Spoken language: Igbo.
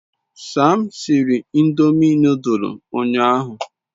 Sam siri ndomi nodul unyahu